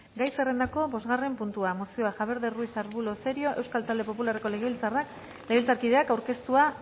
gai zerrendako bosgarren puntua mozioa javier ruiz de arbulo cerio euskal talde popularreko legebiltzarkideak aurkeztua